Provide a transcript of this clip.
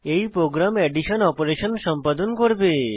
এই program addition operation সম্পাদন করবে